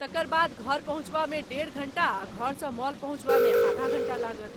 तकर बाद घर पहुँचबामे डेढ़ घण्टा आ घरसँ मॉल पहुँचबामे आधा घण्टा लागत।